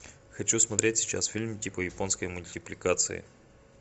хочу смотреть сейчас фильм типа японской мультипликации